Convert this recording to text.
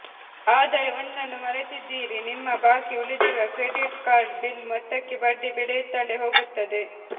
ಆದರೆ ಒಂದನ್ನು ಮರೆತಿದ್ದೀರಿ ನಿಮ್ಮ ಬಾಕಿ ಉಳಿದಿರುವ ಕ್ರೆಡಿಟ್ ಕಾರ್ಡ್ ಬಿಲ್ ಮೊತ್ತಕ್ಕೆ ಬಡ್ಡಿ ಬೆಳೆಯುತ್ತಲೇ ಹೋಗುತ್ತದೆ